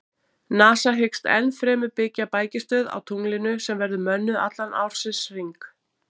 NASA hyggst ennfremur byggja bækistöð á tunglinu sem verður mönnuð allan ársins hring.